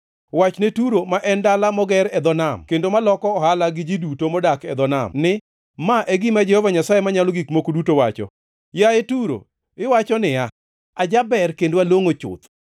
Wachne Turo ma en dala moger e dho nam kendo maloko ohala gi ji duto modak e dho nam ni, ‘Ma e gima Jehova Nyasaye Manyalo Gik Moko Duto wacho: “ ‘Yaye Turo, iwacho niya, “Ajaber kendo alongʼo chuth.”